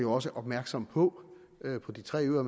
også opmærksomme på på de tre øer